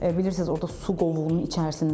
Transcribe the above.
Bilirsiniz orda su qovuğunun içərisindədir.